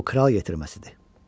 Bu kral yetirməsidir.